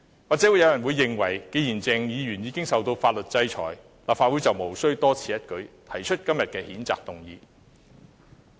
或許有人認為既然鄭議員已受到法律制裁，立法會便無須多此一舉，提出今天的譴責議案。